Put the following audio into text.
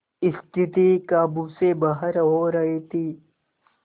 स्थिति काबू से बाहर हो रही थी